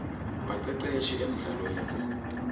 baceceshi emldlalweni